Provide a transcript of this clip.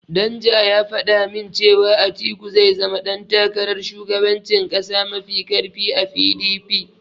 Danja ya faɗa min cewa Atiku zai zama ɗan takarar shugabancin ƙasa mafi ƙarfi a PDP.